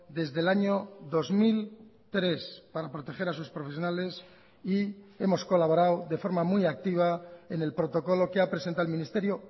desde el año dos mil tres para proteger a sus profesionales y hemos colaborado de forma muy activa en el protocolo que ha presentado el ministerio